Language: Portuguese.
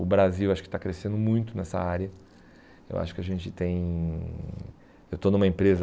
O Brasil acho que está crescendo muito nessa área, eu acho que a gente tem, eu estou numa empresa